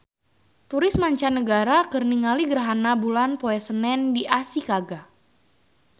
Turis mancanagara keur ningali gerhana bulan poe Senen di Ashikaga